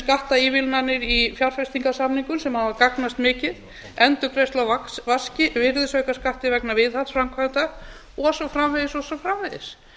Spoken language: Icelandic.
skattaívilnanir í fjárfestingarsamningum sem af gagnast mikið endurgreiðsla á virðisaukaskatti vegna viðhaldsframkvæmda og svo framvegis og svo framvegis